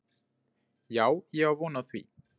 Já, ég á von á því